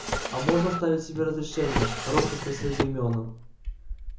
а можно оставить себе разрешение робко спросил гермиона